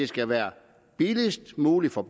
skal være billigst mulig for